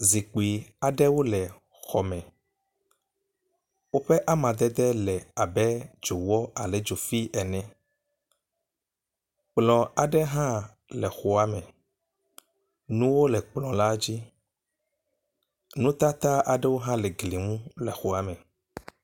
Zikpui aɖewo le xɔ me. Woƒe amadede le abe dzowɔ alo dzofi ene. Kplɔ aɖe hã le xɔa me. Nuwo le kplɔ la dzi. Nutata aɖewo hã le gli nu le xɔa me.